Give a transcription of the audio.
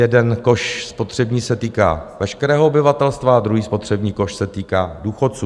Jeden koš spotřební se týká veškerého obyvatelstva a druhý spotřební koš se týká důchodců.